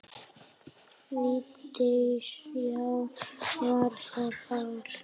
Vigdís: Já, var það þar.